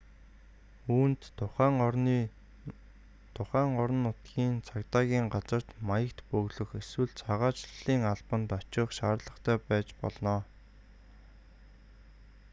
үүнд тухайн орон нутгийн цагдаагийн газарт маягт бөглөх эсвэл цагаачлалын албанд очих шаардлагатай байж болно